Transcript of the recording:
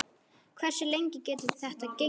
Hversu lengi getur þetta gengið?